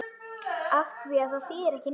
Afþvíað það þýðir ekki neitt.